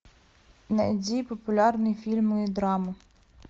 найди популярные фильмы и драмы